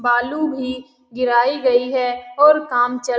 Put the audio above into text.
बालू भी गिराई गयी है और काम चल --